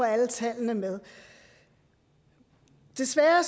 alle tallene med desværre